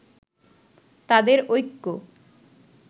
তাদের ঐক্য